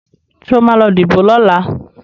Sọ ma lọ díbò lọ́la?